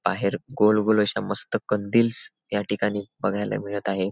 बाहेर गोल गोल अशा मस्त कंदीलस् या ठिकाणी बघायला मिळत आहे.